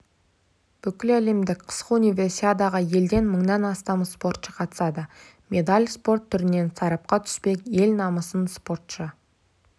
бүкіләлемдік қысқы универсиадаға елден мыңнан астам спортшы қатысады медаль спорт түрінен сарапқа түспек ел намысын спортшы